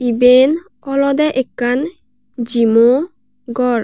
eben olodey ekkan jimmo gor.